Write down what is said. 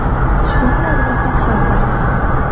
Shunda adolat ham bo‘ladi.